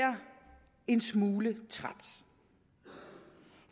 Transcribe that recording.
en smule træt